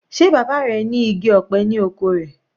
Sé bàbá rẹ̀ ní igi ọ̀pẹ ni oko rẹ̀?